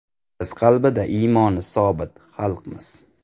Biz qalbida iymoni sobit xalqmiz.